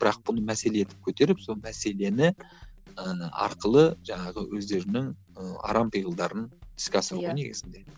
бірақ бұны мәселе етіп көтеріп сол мәселені ыыы арқылы жаңағы өздерінің ы арам пиғылдарын іске асыру ғой негізінде